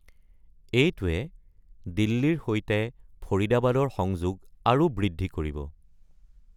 এইটোৱে দিল্লীৰ সৈতে ফৰিদাবাদৰ সংযোগ আৰু বৃদ্ধি কৰিব।